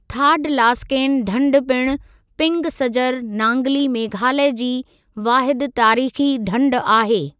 थाडलासकेन ढंढ पिणु पिंग सजर नांगली मेघालया जी वाहिदु तारीख़ी ढंढ आहे।